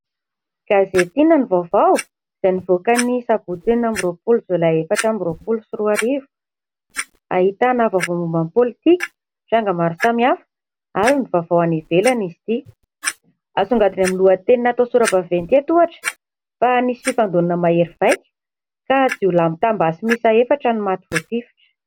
Gazety "Inona no vaovao" izay nivoaka ny sabotsy enina amby roapolo jolay efatra amby roapolo sy roa arivo. Ahitana vaovao momba ny politika, tranga maro samihafa ary ny vaovao any ivelany izy ity. Asongadin'ny lohateny natao sora-baventy eto ohatra fa nisy fifandonana mahery vaika ka jiolahy mitam-basy miisa efatra no maty voatifitra.